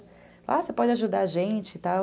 Ah, você pode ajudar a gente e tal.